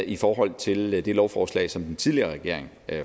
i forhold til det lovforslag som den tidligere regering